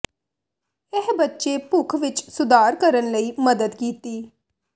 ਇਹ ਬੱਚੇ ਭੁੱਖ ਵਿੱਚ ਸੁਧਾਰ ਕਰਨ ਲਈ ਮਦਦ ਕੀਤੀ